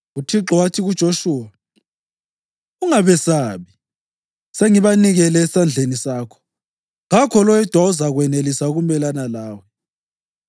UThixo wathi kuJoshuwa, “Ungabesabi; sengibanikele esandleni sakho. Kakho loyedwa ozakwenelisa ukumelana lawe.”